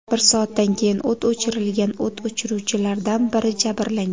Bir soatdan keyin o‘t o‘chirilgan, o‘t o‘chiruvchilardan biri jabrlangan.